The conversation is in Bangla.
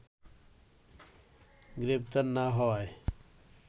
গ্রেপ্তার না হওয়ায়